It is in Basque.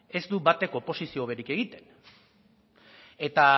ez du batek oposizio hoberik egiten eta